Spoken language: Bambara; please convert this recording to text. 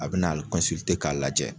A bi nali kɔnsilite k'a lajɛ